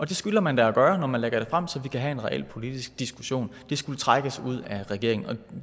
det skylder man da at gøre når man lægger det frem så vi kan have en reel politisk diskussion det skulle trækkes ud af regeringen